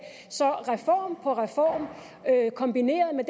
så reform på reform kombineret med